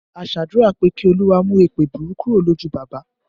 A ṣe àdúrà pé Kí Olúwa mú èèpẹ̀ burú kúrò lójú bàbá